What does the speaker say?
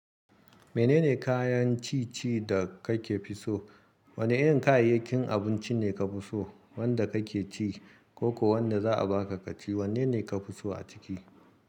Menene kayan ci ci da ka ke fi so? Wane irin kayayyakin abinci ne ka fi so? Wanda ka ke ci ko ko wanda za a baka ka ci, wanne ne ka fi so a ciki?